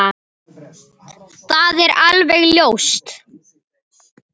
Það er alveg ljóst!